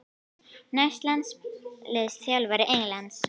Næsti landsliðsþjálfari Englands?